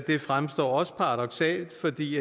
de